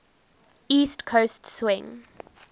east coast swing